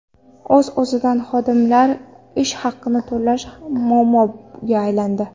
O‘z-o‘zidan, xodimlar ish haqini to‘lash ham muammoga aylandi.